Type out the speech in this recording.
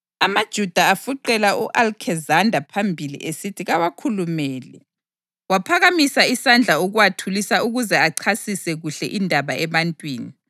AmaJuda afuqela u-Alekizanda phambili esithi kawakhulumele. Waphakamisa isandla ukuwathulisa ukuze achasise kuhle indaba ebantwini.